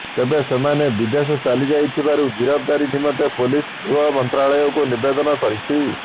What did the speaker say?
ତେବେ ସେମାନେ ବିଦେଶ ଚାଲିଯାଇଥିବାରୁ ଗିରଫଦାରୀ ନିମନ୍ତେ ପୋଲିସ ଗୃହ ମନ୍ତ୍ରାଳୟକୁ ନିବେଦନ କରିଛି